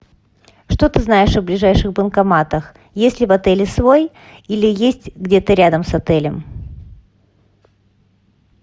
что ты знаешь о ближайших банкоматах есть ли в отеле свой или есть где то рядом с отелем